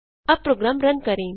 अब program run करें